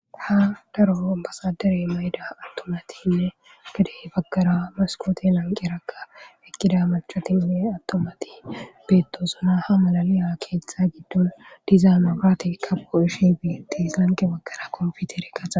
Ha darfo basadere mayida attomatiinne gadey bagkara maskooti lanke rakka ekkida macotinne attomati beettozuna ha malaliya keeththa giddon diza magraati kabo ishi beetis lanqe bagkara konfitere qaza.